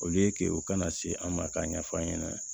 Olu ye ke o kana se an ma k'a ɲɛf'an ɲɛna